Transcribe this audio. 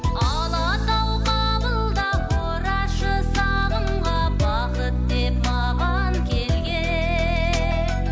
алатау қабылда орашы сағымға бақыт деп маған келген